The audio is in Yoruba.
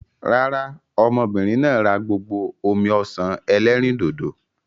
Rárá, ọmọbìnrin náà rà gbogbo omi-ọsan ẹlẹ́rìndòdò.